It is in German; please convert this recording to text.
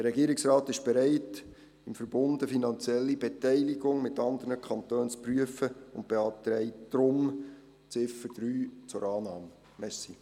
Der Regierungsrat ist bereit, im Verbund eine finanzielle Beteiligung mit anderen Kantonen zu prüfen und beantragt deshalb, die Ziffer 3 anzunehmen.